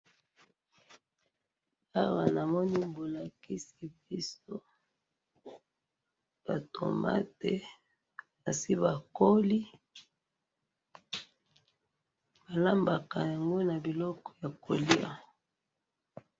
awa namoni bolakisi biso ba tomate esi bakoli balambaka yango na biloko ya koliya